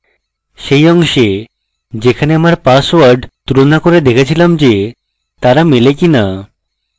সেই অংশে যেখানে আমার পাসওয়ার্ড তুলনা করে দেখেছিলাম যে তারা মেলে কিনা